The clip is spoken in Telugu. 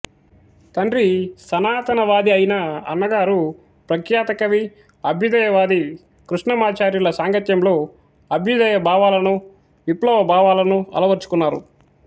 తండ్రి సనాతనవాది ఐనా అన్నగారు ప్రఖ్యాత కవి అభ్యుదయవాది కృష్ణమాచార్యుల సాంగత్యంలో అభ్యుదయ భావాలను విప్లవ భావాలను అలవర్చుకున్నారు